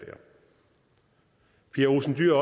pia olsen dyhr